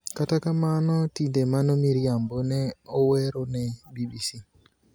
"Kata kamano tinde mano miriambo,"ne owerone BBC.